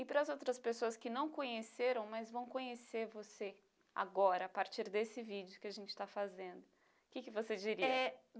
E para as outras pessoas que não conheceram, mas vão conhecer você agora, a partir desse vídeo que a gente está fazendo, o que que você diria? É